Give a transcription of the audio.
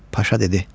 Paşa dedi: